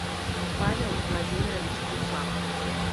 павел владимирович гусак